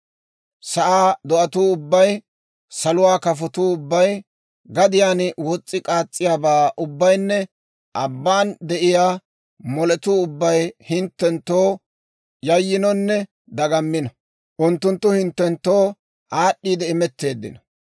Sa'aa do'atuu ubbay, saluwaa kafatuu ubbay, gadiyaan wos's'i k'aas's'iyaabaa ubbaynne abban de'iyaa moletuu ubbay hinttenttoo yayyinonne dagammino. Unttunttu hinttenttoo aad'd'iide imetteeddino;